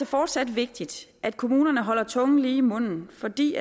fortsat vigtigt at kommunerne holder tungen lige i munden fordi